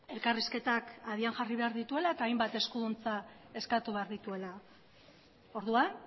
elkarrizketak abian jarri behar dituela eta hainbat eskuduntza eskatu behar dituela orduan